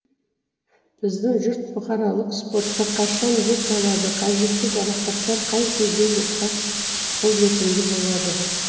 біздің жұрт бұқаралық спортқа қашан бет алады қажетті жарақаттар қай кезде жұртқа қолжетімді болады